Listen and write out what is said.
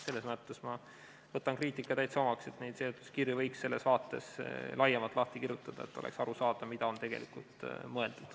Selles mõttes võtan ma kriitika täitsa omaks, et seletuskirju võiks selles vaates laiemalt lahti kirjutada, et oleks aru saada, mida on tegelikult mõeldud.